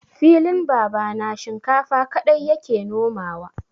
Filin babana shinkafa kaɗai ya ke nomawa.